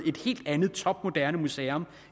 et helt andet topmoderne museum